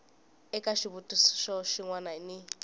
eka xivutiso xin wana ni